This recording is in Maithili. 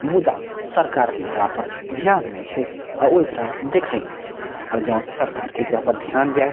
मुदा सरकार के एकरा पर ध्यान ने छै ओ एकरा देखए ने छै जो सरकार के एकरा पर ध्यान जाए --